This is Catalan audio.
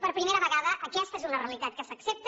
per primera vegada aquesta és una realitat que s’accepta